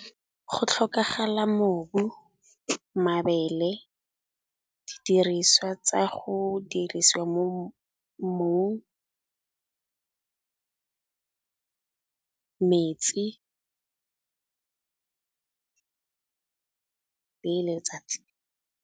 Go tlhokagala mobu, mabele, didiriswa tsa go dirisiwa mo mmung, metsi le letsatsi.